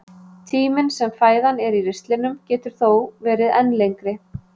Tíminn sem fæðan er í ristlinum getur þó verið enn lengri.